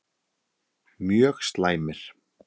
Mjög slæmir